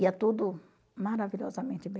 Ia tudo maravilhosamente bem.